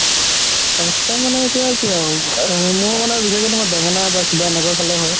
last time মানে এতিয়া কি আৰু আ মোৰ মানে বিশেষকে বেঙেনা বা কিবা এনেকুৱা খালে হয়